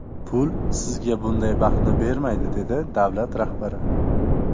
Pul sizga bunday baxtni bermaydi”, dedi davlat rahbari.